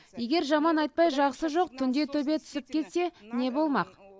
егер жаман айтпай жақсы жоқ түнде төбе түсіп кетсе не болмақ